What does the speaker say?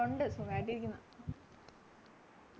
ഒണ്ട് സുഖായിട്ടിരിക്കുന്നു